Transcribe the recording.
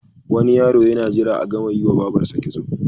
Wani yaro yana jira a gama yiwa babarsa kitso.